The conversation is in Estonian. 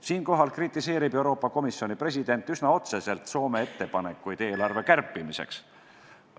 Siinkohal kritiseerib Euroopa Komisjoni president üsna otseselt Soome ettepanekuid eelarve kärpimiseks.